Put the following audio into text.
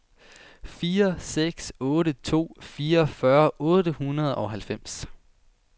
fire seks otte to fireogfyrre otte hundrede og halvfems